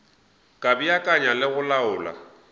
ka beakanya le go laola